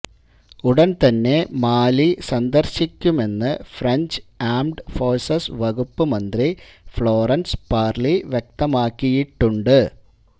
ഉടൻ തന്നെ മാലി സന്ദർശിക്കുമെന്ന് ഫ്രഞ്ച് ആംഡ് ഫോഴ്സസ് വകുപ്പ് മന്ത്രി ഫ്ളോറൻസ് പാർലി വ്യക്തമാക്കിയിട്ടുണ്ട്